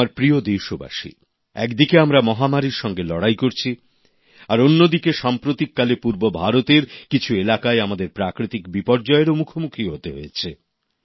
আমার প্রিয় দেশবাসী একদিকে আমরা মহামারীর সঙ্গে লড়াই করছি আর অন্যদিকে সাম্প্রতিককালে পূর্ব ভারতের কিছু এলাকায় আমাদের প্রাকৃতিক বিপর্যয়েরও মুখোমুখি হতে হয়েছে